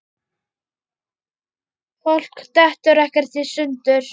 Fólk dettur ekkert í sundur.